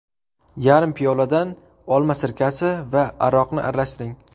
Yarim piyoladan olma sirkasi va aroqni aralashtiring.